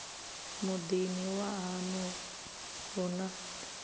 muḓini wa haṋu hu na